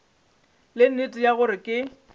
le nnete ya gore ke